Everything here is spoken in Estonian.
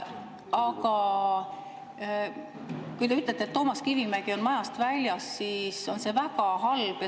Aga kui te ütlete, et Toomas Kivimägi on majast väljas, siis on see väga halb.